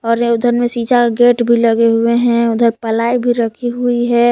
और ये उधर में शीशा का गेट भी लगे हुए हैं उधर प्लाई भी रखी हुई है।